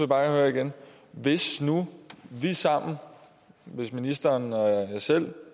bare høre igen hvis nu vi sammen ministeren og jeg selv